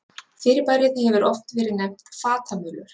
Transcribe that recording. Fyrirbærið hefur oft verið nefnt fatamölur.